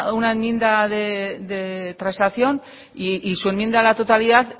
una enmienda de transacción y su enmienda a la totalidad